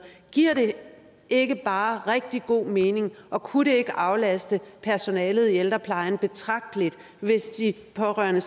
giver det ikke bare rigtig god mening og kunne det ikke aflaste personalet i ældreplejen betragteligt hvis de pårørende